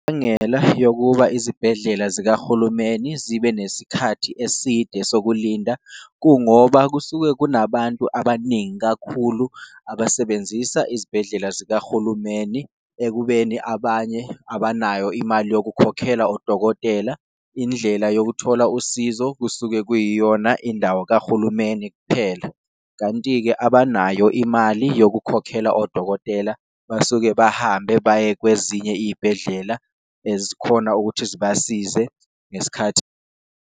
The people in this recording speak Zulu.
Imbangela yokuba izibhedlela zikahulumeni zibe nesikhathi eside sokulinda, kungoba kusuke kunabantu abaningi kakhulu abasebenzisa izibhedlela zikahulumeni. Ekubeni abanye abanayo imali yokukhokhela odokotela indlela yokuthola usizo, kusuke kuyiyona indawo akahulumeni kuphela. Kanti-ke, abanayo imali yokukhokhela odokotela basuke bahambe baye kwezinye iyibhedlela ezikhona ukuthi zibasize ngesikhathi.